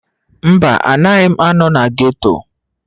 Mba, anaghị m anọ na ghetto.